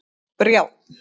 Brjánn